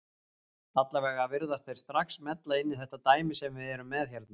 Allavega virðast þeir strax smella inn í þetta dæmi sem við erum með hérna.